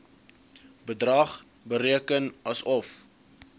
bedrag bereken asof